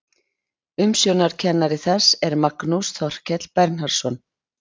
Umsjónarkennari þess er Magnús Þorkell Bernharðsson.